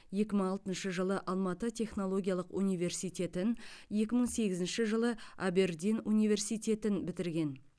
екі мың алтыншы жылы алматы технологиялық университетін екі мың сегізінші жылы абердин университетін бітірген